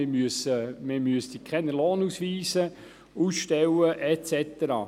Man müsste keine Lohnausweise ausstellen und so weiter.